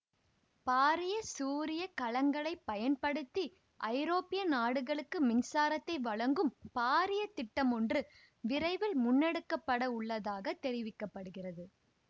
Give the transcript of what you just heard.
பாரிய சூரிய கலங்களைப் பயன்படுத்தி ஐரோப்பிய நாடுகளுக்கு மின்சாரத்தை வழங்கும் பாரிய திட்டமொன்று விரைவில் முன்னெடுக்க பட உள்ளதாக தெரிவிக்க படுகிறது